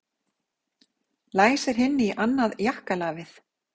Læsir hinni í annað jakkalafið.